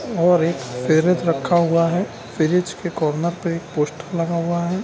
और एक फ्रिज रखा हुआ है। फ्रिज के कार्नर पे एक पोस्टर लगा हुआ है।